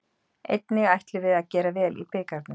Einnig ætlum við að gera vel í bikarnum.